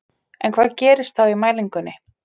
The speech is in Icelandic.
En hvað gerist þá í mælingunni?